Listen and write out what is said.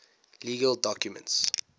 legal documents